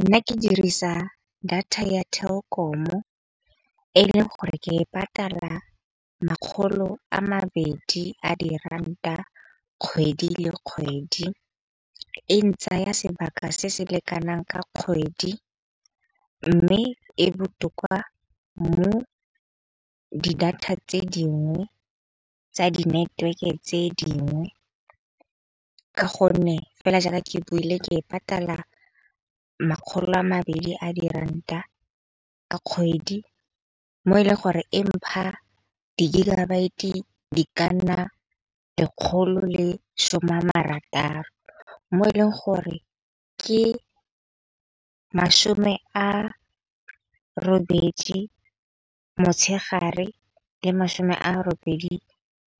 Nna ke dirisa data ya Telkom-o e leng gore ke e patala makgolo a mabedi a di ranta kgwedi le kgwedi. E ntsaya sebaka se se lekanang ka kgwedi, mme e botoka. Di data tse dingwe tsa di network-e tse dingwe ka gonne fela jaaka ke buile ke e patala makgolo a mabedi a di ranta a kgwedi mo e leng gore e mpha di gigabyte di ka nna lekgolo le some a marataro. Mo e leng gore ke masome a robedi motshegare le masome a robedi